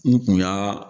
N kun y'aa